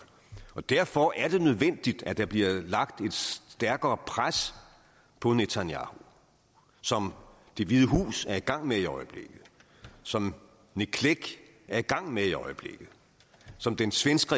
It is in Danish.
derfor er det nødvendigt at der bliver lagt et stærkere pres på netanyahu som det hvide hus er i gang med i øjeblikket som nick clegg er i gang med i øjeblikket som den svenske